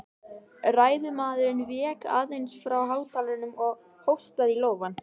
Ræðumaðurinn vék aðeins frá hátalaranum og hóstaði í lófann.